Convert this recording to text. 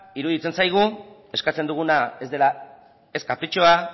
iruditzen zaigu eskatzen duguna ez dela ez kapritxoa